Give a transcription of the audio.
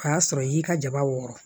O y'a sɔrɔ i y'i ka jaba wɔɔrɔ